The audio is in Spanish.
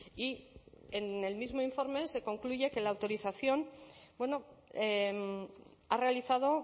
y en el mismo informe se concluye que la autorización ha realizado